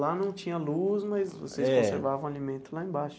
Lá não tinha luz, mas vocês conservavam o alimento lá embaixo.